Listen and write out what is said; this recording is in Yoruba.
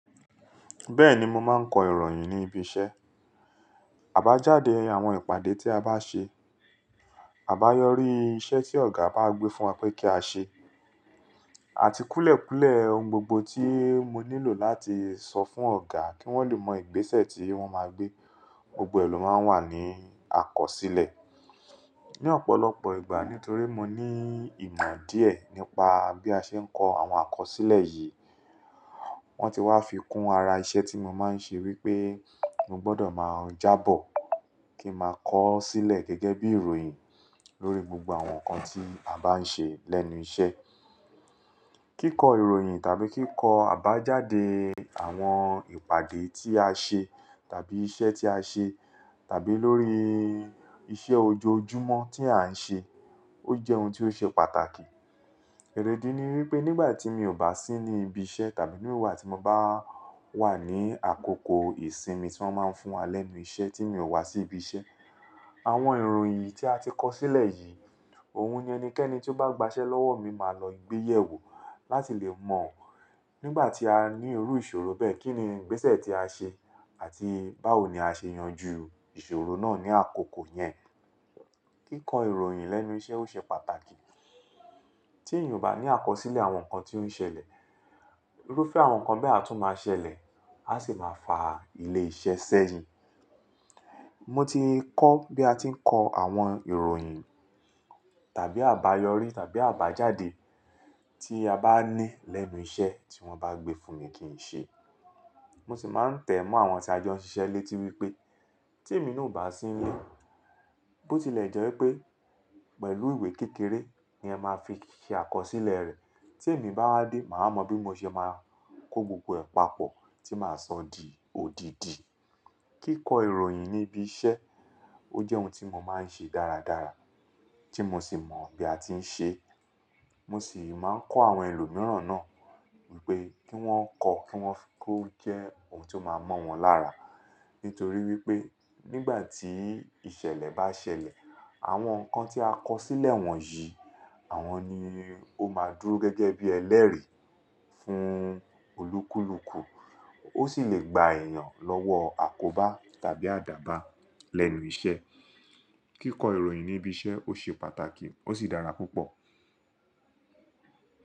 Bẹ́ẹ̀ni, mo máa ń kọ ìròyìn ní ibi iṣẹ́, àbájáde àwọn ìpàdé tí a bá ṣe, àbáyọrí iṣẹ́ tí ọ̀gá bá gbé fún wa pé kí á ṣe, àti kúlẹ̀kúlẹ̀ ohun gbogbo tí mo nílò láti sọ fún ọ̀gá kí wọ́n lè mọ ìgbésẹ̀ tí wọ́n máa gbé, gbogbo ẹ lọ máa ń wà ní àkọsílẹ̀. Ni ọ̀pọ̀lọpọ̀ ìgbà nítorí mo ní ìmọ̀ díẹ̀ nípa bí a ṣe ń kọ àwọn àkọsílẹ̀ yìí, wọ́n ti wá fi kún ara iṣẹ́ tí mo máa ń ṣe wípé mo gbọ́dọ̀ máa jábọ̀ kí n ma kọ ó sílẹ̀ gẹ́gẹ́ bí ìròyìn lórí gbogbo àwọn nǹkan tí a bá ń ṣe lẹ́nu iṣẹ́. Kíkọ ìròyìn tàbí kíkọ àbájáde àwọn ìpàdé tí a ṣe tàbí iṣẹ́ tí a ṣe tàbí lórí iṣẹ́ ojoojúmọ́ tí a ń ṣe, ó jẹ́ ohun tí ó ṣe pàtàkì. Ẹ̀rẹ̀dì ni wípé nígbà tí mi ò bá sí ní ibi iṣẹ́ tàbí nígbà tí mo bá wà ní àkókò ìsinmi tí wọ́n máa ń fún wa lẹ́nu iṣẹ́ tí mi ò wá sí ibi iṣẹ́, àwọn ìròyìn tí a ti kọ sílẹ̀ yìí, òun ni ẹnikẹ́ni tí ó bá gbaṣẹ́ lọ́wọ́ mi máa lọ gbé yẹ̀ wò láti lè mọ̀ nígbà tí a ní irú ìṣòro bẹ́ẹ̀, kíni ìgbésẹ̀ tí a ṣe àti báwo ni a ṣe yanjú ìṣòro náà ní àkókò yẹn. Kíkọ ìròyìn lẹ́nu iṣẹ́ ó ṣe pàtàkì. Tí èèyàn ò bá ní àkọsílẹ̀ àwọn nǹkan tí ó ń ṣẹlẹ̀, irúfẹ́ àwọn nǹkan bẹ́ẹ̀ a tún máa ṣẹlẹ̀, a sì máa fa ilé iṣẹ́ ṣẹ́yìn. Mo ti kọ bí a ti ń kọ àwọn ìròyìn tàbí àbáyọrí tàbí àbájáde tí a bá ní lẹ́nu iṣẹ́ tí wọ́n bá gbé fún mi kí n ṣe. Mo sì máa ń tẹ̀ mọ́ àwọn tí a jọ ń ṣiṣẹ́ létí wípé tí èmi náà ò bá sí nílé, bó tilẹ̀ jẹ́ wípé pẹ̀lú ìwé kékeré ni ẹ máa fi ṣe àkọsílẹ̀ rẹ̀, tí èmi bá wá dé, màá mọ bí mo ṣe máa kó gbogbo ẹ̀ pàpọ̀ tí màá sọ di òdìdì. Kíkọ ìròyìn ní ibi iṣẹ́ ó jẹ́ ohun tí mo máa ń ṣe dáradára tí mo sì mọ bí a ti ń ṣe. Mo sì máa ń kọ́ àwọn ẹlòmíràn náà wípé kí wón kọ, kí wón fi kó jẹ́ ohun tí ó máa mọ́ wọn lára. Nítorí wípé nígbà tí ìṣẹ̀lẹ̀ bá ṣẹlẹ̀, àwọn nǹkan tí a kọ sílẹ̀ wọ̀nyí àwọn ni ó máa dúró gẹ́gẹ́ bí ẹlẹ́rìí fún olúkúlùkù. Ó sì lè gba èẹ̀yàn lọ́wọ́ àkóbá tàbí àdàbà lẹ́nu iṣẹ́. Kíkọ ìròyìn ní ibi iṣẹ́ ó ṣe pàtàkì ó sì dára púpọ̀.